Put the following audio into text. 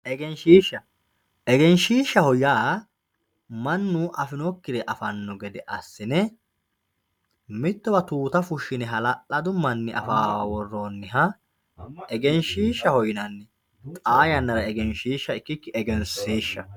egenshiishsha, egenshiishshaho yaa mannu afinokkire afanno gede assine mittowa tuuta fushshine hala'ladu manni afawoowa worroonniha egenshiishshaho yinanni xaa yannara egenshiishsha ikkikki egensiishshaho